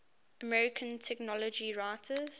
american technology writers